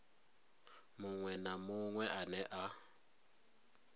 muṅwe na muṅwe ane a